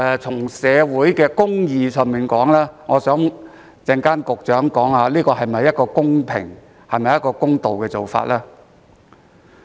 就社會公義而言，我希望局長稍後交代一下，這是否一個公平公道的做法。